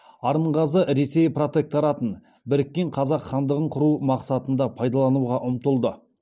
арынғазы ресей протекторатын біріккен қазақ хандығын құру мақсатында пайдалануға ұмтылды